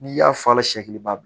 N'i y'a fala siɲɛ i b'a dun